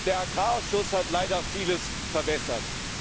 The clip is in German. Der Agrarausschuss hat leider vieles verwässert.